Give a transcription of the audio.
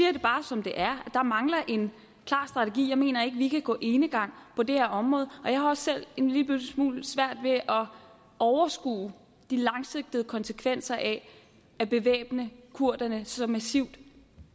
jo bare som det er der mangler en klar strategi jeg mener ikke vi kan gå enegang på det her område og jeg har også selv en lille smule svært ved at overskue de langsigtede konsekvenser af at bevæbne kurderne så massivt